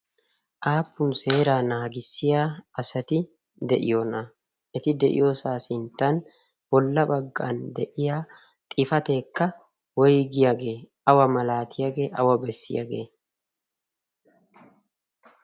aappun seera naagissiya asati de'iyoona eti de'iyoosaa sinttan bolla baggan de'iya xifateekka woigiyaagee awa malaatiyaagee awa bessiyaagee?